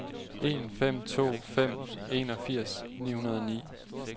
en fem to fem enogfirs ni hundrede og ni